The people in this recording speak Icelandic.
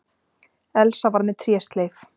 Elsa var með trésleif.